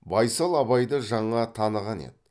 байсал абайды жаңа таныған еді